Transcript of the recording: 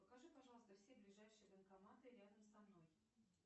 покажи пожалуйста все ближайшие банкоматы рядом со мной